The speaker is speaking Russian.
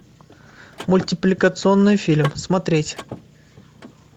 мультипликационный фильм смотреть